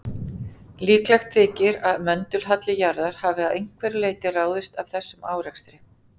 Líklegt þykir að möndulhalli jarðar hafi að einhverju leyti ráðist af þessum árekstri.